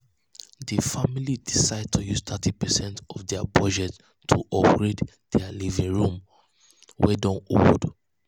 di um family decide to use thirty percent of dia budget to upgrade dia living room wey don old.